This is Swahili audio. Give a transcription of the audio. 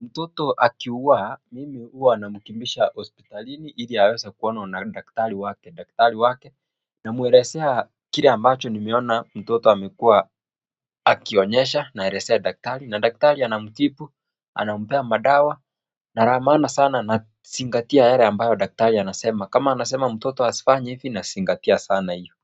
Mtoto akiwa, mimi huwa namkimbisha hospitalini, ili aweze kuonwa na daktari wake, daktari wake. Namuelezea kile ambacho nimeona mtoto amekuwa akionyesha naelezea daktari na daktari anamtibu, anampea madawa, na la maana sana nazingatia yale ambayo daktari anasema kama anasema mtoto asifanye hivi nazingatia sana iyo.